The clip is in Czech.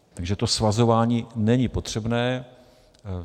Takže to svazování není potřebné.